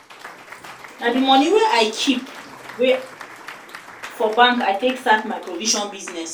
na di moni wey i keep wey i keep for bank i take start my provision business.